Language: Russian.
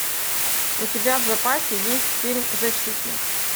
у тебя в запасе есть фильм защитник